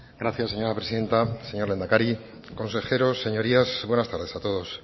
gracias señora presidenta señor lehendakari consejeros señorías buenas tardes a todos